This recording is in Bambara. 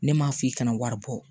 Ne m'a f'i kana wari bɔ